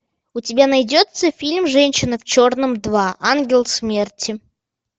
у тебя найдется фильм женщина в черном два ангел смерти